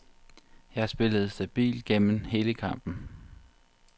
Jeg spillede stabilt gennem hele kampen.